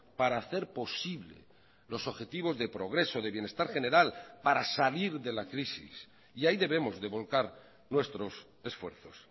para hacer posible los objetivos de progreso de bienestar general para salir de la crisis y ahí debemos de volcar nuestros esfuerzos